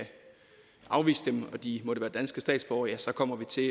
afvise dem og de måtte være danske statsborgere ja så kommer vi til